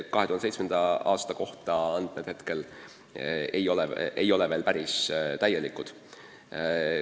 2017. aasta kohta ei ole andmed veel päris täielikud.